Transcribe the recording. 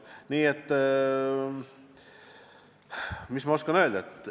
Nii et mis ma oskan öelda?